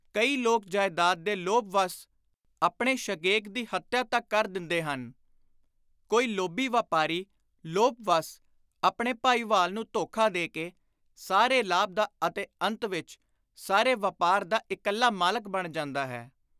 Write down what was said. ਕਈ ਲੋਕ ਜਾਇਦਾਦ ਦੇ ਲੋਭ-ਵੱਸ ਆਪਣੇ ਸ਼ਗੇਕ ਦੀ ਹੱਤਿਆ ਤਕ ਕਰ ਦਿੰਦੇ ਹਨ; ਕੋਈ ਲੋਭੀ ਵਾਪਾਰੀ ਲੋਭ-ਵੱਸ ਆਪਣੇ ਭਾਈਵਾਲ ਨੂੰ ਧੋਖਾ ਦੇ ਕੇ ਸਾਰੇ ਲਾਭ ਦਾ ਅਤੇ ਅੰਤ ਵਿਚ ਸਾਰੇ ਵਾਪਾਰ ਦਾ ਇਕੱਲਾ ਮਾਲਕ ਬਣ ਜਾਂਦਾ ਹੈ।